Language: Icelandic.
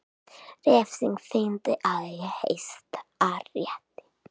Refsing þyngd í Hæstarétti